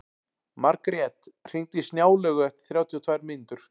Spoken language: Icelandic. Margrjet, hringdu í Snjálaugu eftir þrjátíu og tvær mínútur.